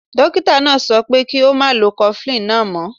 Dokita naa so pe ki o ma lo cofflin naa mo.